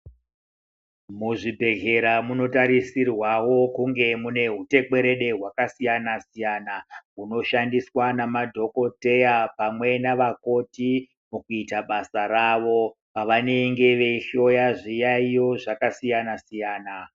Muzvibhedhlera munotarisirwavo kunge mune hutekwerede hwakasiyana-siyana. Hunoshandiswa nemadhokoteya pamwe navakoti mukuita basa ravo pavanenge veihloya zviyaiyo zvakasiyana-siyana.